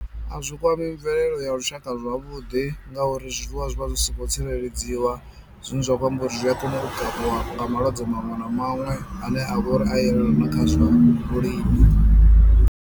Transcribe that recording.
A zwi kwami mvelelo ya lushaka zwavhuḓi ngauri zwiḽiwa zwi vha zwi songo tsireledziwa, zwine zwa khou amba uri zwi a kona u kavhiwa nga malwadze maṅwe na maṅwe ane a vha uri a yelana kha zwa vhulimi.